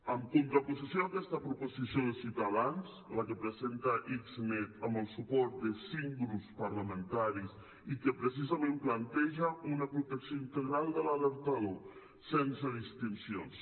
en contraposició a aquesta proposició de ciutadans la que presenta xnet amb el suport de cinc grups parlamentaris i que precisament planteja una protecció integral de l’alertador sense distincions